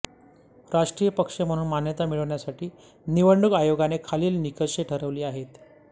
राष्ट्रीय पक्ष म्हणून मान्यता मिळवण्यासाठी निवडणूक आयोगाने खालील निकष ठरवले आहेत